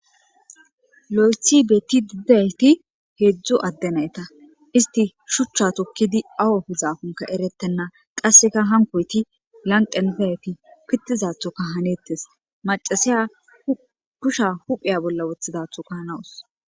Loyithi betidi didayiti hedzu ade nayita eti shucha tokid awu efizaki eretena qasika hankoti lanqeni dizayiti pitidathoka hanetesi maccasiya kushiya huphiya bolla othidathoka hanawusi